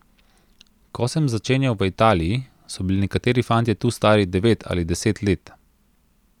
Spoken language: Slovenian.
Ko sem začenjal v Italiji, so bili nekateri fantje tu stari devet ali deset let.